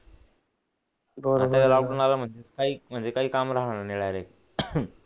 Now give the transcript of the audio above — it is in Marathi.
आता हा लॉकडाउन आला मध्ये काही म्हणजे काही काम राहणार नाही डायरेक्ट